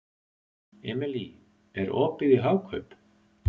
Emely, er opið í Hagkaup?